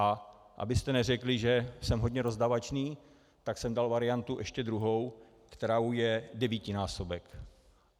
A abyste neřekli, že jsem hodně rozdávačný, tak jsem dal variantu ještě druhou, kterou je devítinásobek.